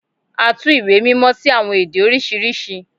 À tù ìwé mímọ si awọn ede oriṣiriṣi